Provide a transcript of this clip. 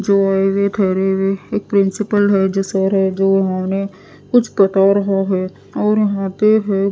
जो आए हुए ठहरे हुए है एक प्रिंसिपल है जो सर है जो उन्हें कुछ बता रहा हैं और यहां पे है --